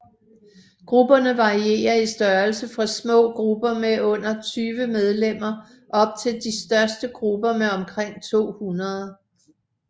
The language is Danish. Grupperne varierer i størrelse fra små grupper med under 20 medlemmer op til de største grupper med omkring 200